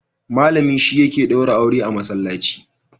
Malami shi yake daura aure a Masallaci.